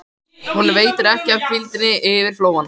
Honum veitir ekki af hvíldinni yfir flóann.